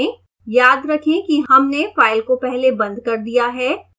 याद रखें कि हमने फ़ाइल को पहले बंद कर दिया है